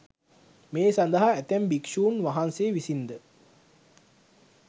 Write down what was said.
මේ සඳහා ඇතැම් භික්‍ෂූන් වහන්සේ විසින් ද